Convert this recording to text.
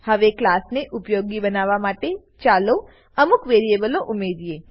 હવે ક્લાસને ઉપયોગી બનાવવા માટે ચાલો અમુક વેરીએબલો ઉમરીએ